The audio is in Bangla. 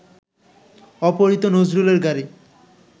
অপহৃত নজরুলের গাড়ি